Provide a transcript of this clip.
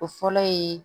O fɔlɔ ye